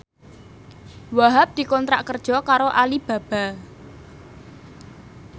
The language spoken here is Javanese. Wahhab dikontrak kerja karo Alibaba